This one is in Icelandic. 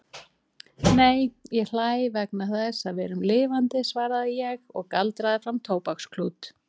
Nei, ég hlæ vegna þess að við erum lifandi svaraði ég og galdraði fram tóbaksklút.